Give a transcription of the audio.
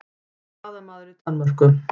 Blaðamaður í Danmörku